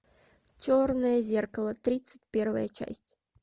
черное зеркало тридцать первая часть